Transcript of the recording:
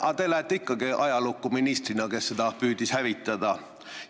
Aga te lähete ikkagi ajalukku ministrina, kes püüdis seda hävitada.